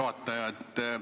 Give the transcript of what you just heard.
Juhataja!